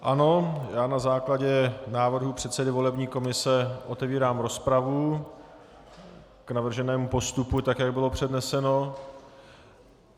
Ano, já na základě návrhu předsedy volební komise otevírám rozpravu k navrženému postupu, tak jak bylo předneseno.